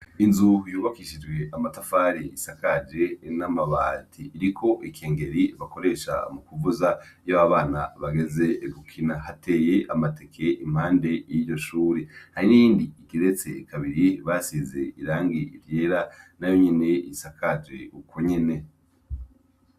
Inzu yubakishije amatafari isakaje n' amabati, iriko ikengeri bakoresha mukuvuza iyo abana bageze gukina hateye amateke impande y' iryo shure hari n' iyindi igeretse kabiri basize irangi ryera nayonyene isakaje uko nyene.